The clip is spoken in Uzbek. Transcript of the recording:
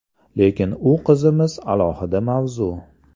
Lekin u qizimiz alohida mavzu.